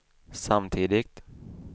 samtidigt